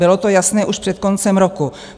Bylo to jasné už před koncem roku.